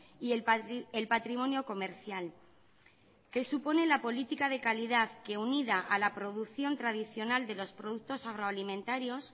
y el patrimonio comercial que supone la política de calidad que unida a la producción tradicional de los productos agroalimentarios